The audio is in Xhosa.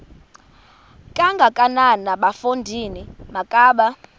kangakanana bafondini makabe